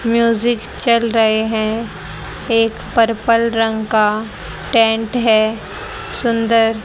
music चल रहे हैं एक पर्पल रंग का टेंट है सुंदर--